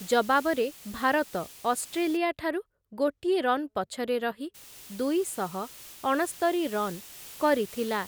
ଜବାବରେ ଭାରତ, ଅଷ୍ଟ୍ରେଲିଆ ଠାରୁ ଗୋଟିଏ ରନ୍ ପଛରେ ରହି ଦୁଇଶହ ଅଣସ୍ତରି ରନ୍ କରିଥିଲା ।